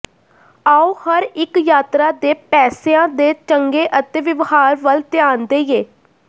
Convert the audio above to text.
ਆਉ ਹਰ ਇੱਕ ਯਾਤਰਾ ਦੇ ਪੈਸਿਆਂ ਦੇ ਚੰਗੇ ਅਤੇ ਵਿਵਹਾਰ ਵੱਲ ਧਿਆਨ ਦੇਈਏ